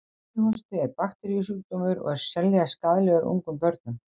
Kíghósti er bakteríusjúkdómur og er sérlega skaðlegur ungum börnum.